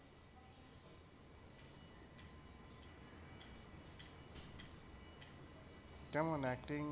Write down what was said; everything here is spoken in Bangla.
কেমন acting আর,